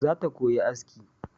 Zata koyi aski